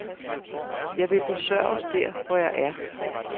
Jeg vil besøges der, hvor jeg er.